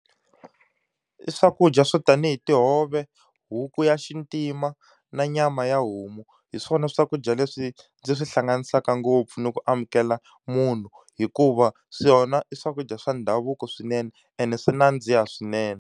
I swakudya swo tanihi tihove, huku ya xintima, na nyama ya homu, hi swona swakudya leswi ndzi swi hlanganisaka ngopfu ni ku amukela munhu. Hikuva swona i swakudya swa ndhavuko swinene ene swi nandziha swinene.